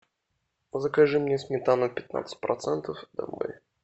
закажи мне сметана пятнадцать процентов домой